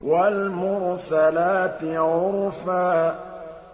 وَالْمُرْسَلَاتِ عُرْفًا